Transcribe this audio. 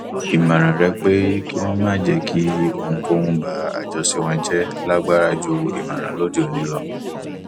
ìmọràn rẹ pé kí wọn má jẹ kí ohunkóhun ba àjọṣe wọn jẹ lágbára ju ìmọràn lóde òní lọ